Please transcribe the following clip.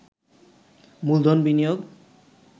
মূলধন বিনিয়োগ